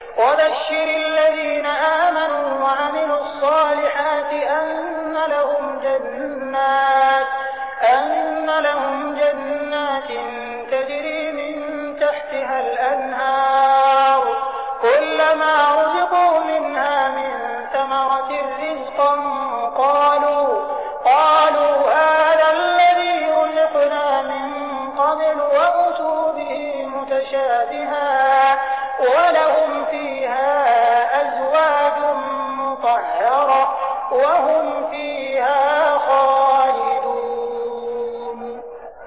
وَبَشِّرِ الَّذِينَ آمَنُوا وَعَمِلُوا الصَّالِحَاتِ أَنَّ لَهُمْ جَنَّاتٍ تَجْرِي مِن تَحْتِهَا الْأَنْهَارُ ۖ كُلَّمَا رُزِقُوا مِنْهَا مِن ثَمَرَةٍ رِّزْقًا ۙ قَالُوا هَٰذَا الَّذِي رُزِقْنَا مِن قَبْلُ ۖ وَأُتُوا بِهِ مُتَشَابِهًا ۖ وَلَهُمْ فِيهَا أَزْوَاجٌ مُّطَهَّرَةٌ ۖ وَهُمْ فِيهَا خَالِدُونَ